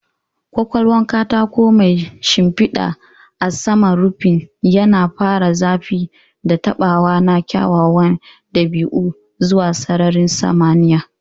Ƙaƙwalwar katako mai shimfiɗa a saman rufin, yana ƙara zafi da taɓawa na kyawawan dabi'u zuwa sararin samaniya.